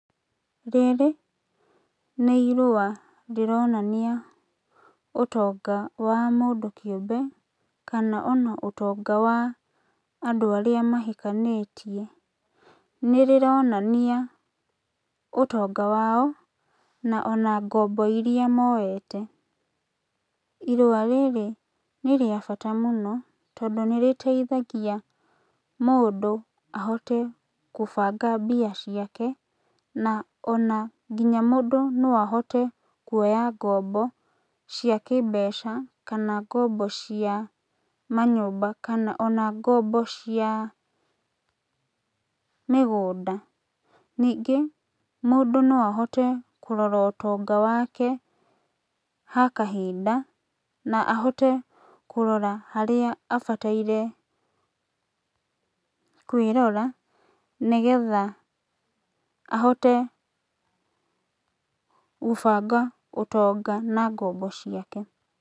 Rĩrĩ nĩ irũa rĩronania ũtonga wa mũndũ kĩũmbe kana ona ũtonga wa andũ arĩa mahikanĩtie. Nĩrĩronania ũtonga wao na ona ngombo iria moete. Irũa rĩrĩ nĩ rĩa bata mũno tondũ nĩrĩteithagia mũndũ ahote kũbanga mbia ciake, na ona nginya mũndũ no ahote kuoya ngombo cia kĩmbeca, kana ngombo cia ona ngombo cia manyũmba, kana ona mĩgũnda. Ningĩ mũndũ no ahote kũrora ũtonga wake ha kahinda na ahote kũrora harĩa abataire kwĩrora nĩgetha ahote gũbanga ũtonga na ngombo ciake.